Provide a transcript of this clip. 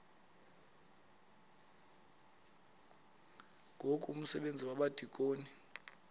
ngoku umsebenzi wabadikoni